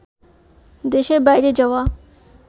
দেশের বাইরে যাওয়া